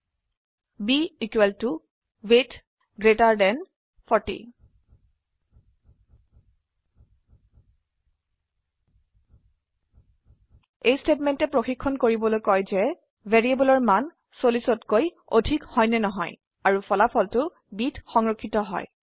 b equal to weight greater than 40 এই স্টেটমেন্টে চাবলৈ কয় যে যদি ভ্যাৰিয়েবলেৰ মান 40তকৈ অধিক হয় আৰু ফলাফলটো bত সংৰক্ষিত হয়